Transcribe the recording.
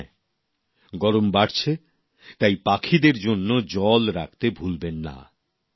আর হ্যাঁ গরম বাড়ছে তাই পাখিদের জন্য জল রাখতে ভুলবেন না